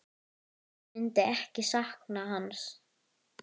Hver myndi ekki sakna hans?